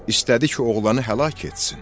İstədi ki, oğlanı həlak etsin.